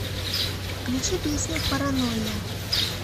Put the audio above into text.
включи песню паранойя